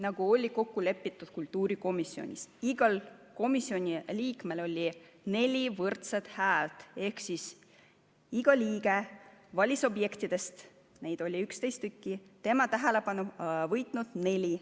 Nagu oli kokku lepitud kultuurikomisjonis, oli igal komisjoni liikmel neli võrdset häält ehk iga liige valis objektidest, mida oli 11, tema tähelepanu võitnud neli.